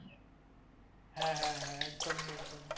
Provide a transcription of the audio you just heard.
হ্যাঁ হ্যাঁ হ্যাঁ একদমই একদমই।